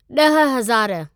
ॾह हज़ारु